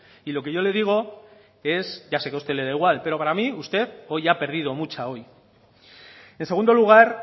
lo que yo le digo es ya sé que a usted le da igual para mí usted hoy ha perdido mucha en segundo lugar